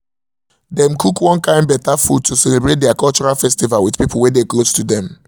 dem cook one kind better food to celebrate der cultural festival with people wey dey close to dem